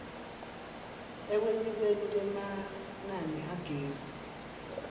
ekwenyukeni kwemanani agezi